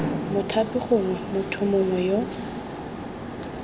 mothapi gongwe motho mongwe yo